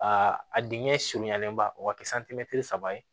Aa a dingɛ surunyalenba o ka kɛ saba ye